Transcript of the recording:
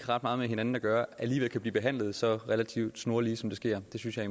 ret meget med hinanden at gøre alligevel kan blive behandlet så relativt snorlige som det sker det synes jeg